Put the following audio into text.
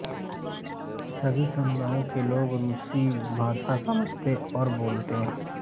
सभी समुदायों के लोग रूसी भाषा समझते और बोलते हैं